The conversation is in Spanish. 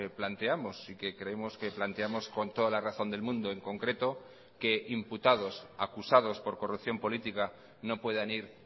planteamos y que creemos que planteamos con toda la razón del mundo en concreto que imputados acusados por corrupción política no puedan ir